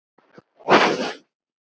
Hvernig getum við gert það?